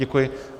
Děkuji.